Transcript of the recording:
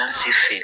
Taa se fe ye